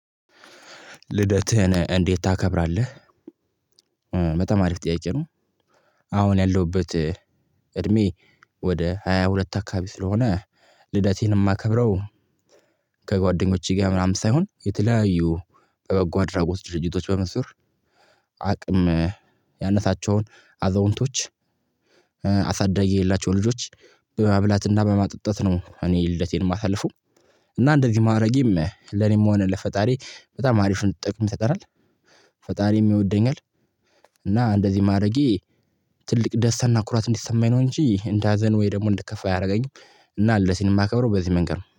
ልደትህን እንዴት ታከብራለህ? በጣም አሪፍ ጥያቄ ነው። አሁን ያለሁበት እድሜ ወደ ሃያ ሁለት አካባቢ ስለሆነ። ልደቴን የማከብረው። ከጓደኞቼ ጋር ምናምን ሳይሆን የተለያዩ በጓ አድራጎት ድርጅቶች በምስር አቅም ያነሳቸውን አዛውንቶች አሳዳጊ የላቸውም ልጆች በማብላትና በማጥጣት ነው እኔ ልደቴን የማሳልፈው። እና እንደዚህ ማዕረጌም ለኔም የሆነ ለፈጣሪ በጣም አሪፍ ነው ጥቅም ይፈጠራል። ፈጣሪም ይወደኛል። እና እንደዚህ ማረጌ ትልቅ ደስታና ኩራት እንዲሰማኝ ነው። እንጂ እንደ ሀዘን ወይ ደግሞ እንድከፋ ያደረገኝ። እና ልደቴን ማከብረው በዚህ መንገድ ነው